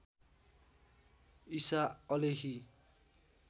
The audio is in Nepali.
ईसा अलेही